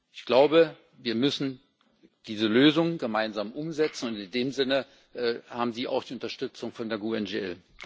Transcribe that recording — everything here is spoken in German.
Ich glaube, wir müssen diese Lösung gemeinsam umsetzen, und in dem Sinne haben Sie auch die Unterstützung von der GUE NGL.